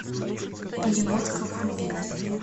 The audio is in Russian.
перемотка вруби